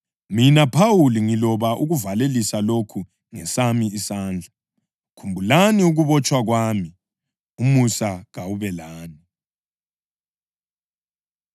Mina Phawuli, ngiloba ukuvalelisa lokhu ngesami isandla. Khumbulani ukubotshwa kwami. Umusa kawube lani.